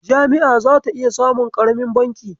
Jami'a zata iya samun ƙaramin banki.